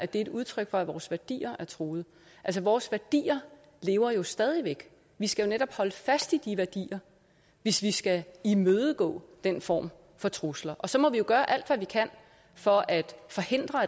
det er et udtryk for at vores værdier er truet vores værdier lever jo stadig væk vi skal jo netop holde fast i de værdier hvis vi skal imødegå den form for trusler og så må vi jo gøre alt hvad vi kan for at forhindre